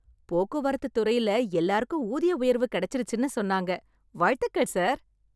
போக்குவரத்து துறைல எல்லாருக்கும் ஊதிய உயர்வு கெடைச்சிருச்சுன்னு சொன்னாங்க... வாழ்த்துகள் சார்.